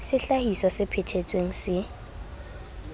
sehlahiswa se phe thetsweng se